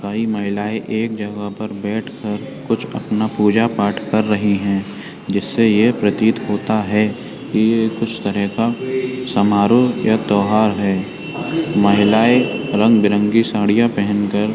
कई महिला एक जगह पर बैठ कर कुछ अपना पूजा-पाठ कर रही हैं जिससे ये प्रतीत होता है कि ये कुछ तरह का समारोह या त्यौहार है। महिलाएँ रंग-बिरंगी साड़ियाँ पहन कर --